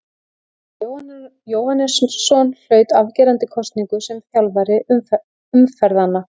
Ólafur Jóhannesson hlaut afgerandi kosningu sem þjálfari umferðanna.